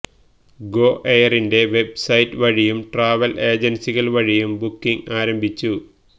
go എയറിന്റെ website വഴിയും travel ഏജൻസികൾ വഴിയും ബുക്കിങ് ആരംഭിച്ചു